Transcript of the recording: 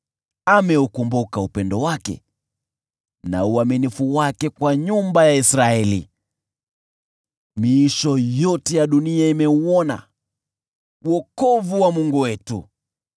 Ameukumbuka upendo wake na uaminifu wake kwa nyumba ya Israeli; miisho yote ya dunia imeuona wokovu wa Mungu wetu.